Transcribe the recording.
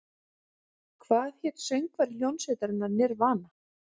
Hvað hét söngvari hljómsveitarinnar Nirvana?